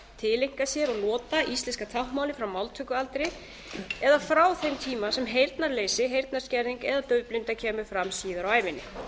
tileinka sér og nota íslenska táknmálið frá máltökualdri eða frá þeim tíma sem heyrnarleysi heyrnarskerðing eða daufblinda kemur fram síðar á ævinni